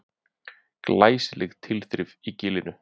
Glæsileg tilþrif í Gilinu